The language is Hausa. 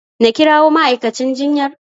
Na kirawo ma'aikacin jinyar?